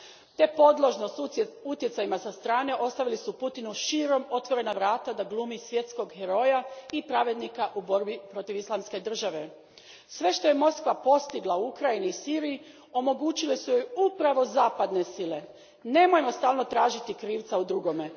te podložnost utjecajima sa strane ostavili su Putinu širom otvorena vrata da glumi svjetskog heroja i pravednika u borbi protiv Islamske države. Sve što je Moskva postigla u Ukrajini i Siriji omogućile su joj upravo zapadne sile. Nemojmo stalno tražiti krivca u drugome.